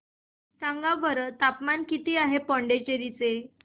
सांगा बरं तापमान किती आहे पुडुचेरी चे